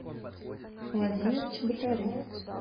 владимир чеботарев